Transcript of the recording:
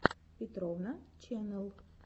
петровна ченнэл